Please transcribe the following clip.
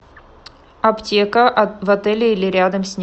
аптека в отеле или рядом с ним